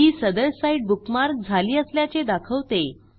ही सदर site bookmark झाली असल्याचे दाखवते